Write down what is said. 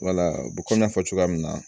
Wala komi n y'a fɔ cogoya min na